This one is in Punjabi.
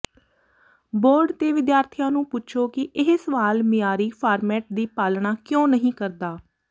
ਬੋਰਡ ਤੇ ਵਿਦਿਆਰਥੀਆਂ ਨੂੰ ਪੁੱਛੋ ਕਿ ਇਹ ਸਵਾਲ ਮਿਆਰੀ ਫਾਰਮੇਟ ਦੀ ਪਾਲਣਾ ਕਿਉਂ ਨਹੀਂ ਕਰਦਾ